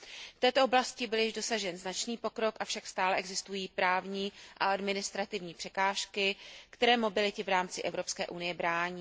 V této oblasti byl již dosažen značný pokrok, avšak stále existují právní a administrativní překážky, které mobilitě v rámci Evropské unie brání.